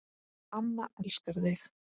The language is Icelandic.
Amma elskar þig